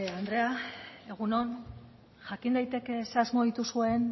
andrea egun on jakin daiteke zein asmo dituzuen